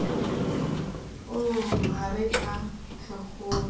oo ha re a phekgohe